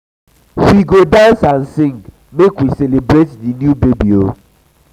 we we go dance and sing make we celebrate di new baby.